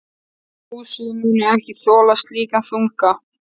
Húsið muni ekki þola slíkan þunga.